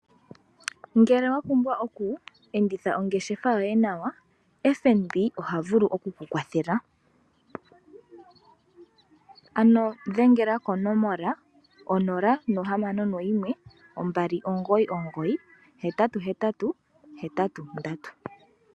Ngele wa pumbwa oku enditha ongeshefa yoye nawa FNB oha vulu oku ku kwathela, ano dhengela konomola 061 2998883